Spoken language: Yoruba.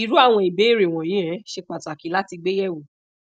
iru awon ibeere wonyi um se pataki lati gbe yewo